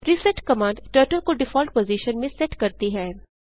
reset command turtle को default position में set करती है